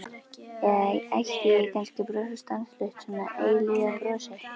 Eða ætti ég kannski að brosa stanslaust, svona eilífðarbrosi?